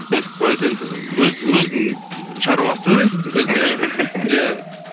нетіп қояды енді өзінің шаруасы өзі біледі бизнесі дейсің ғой иә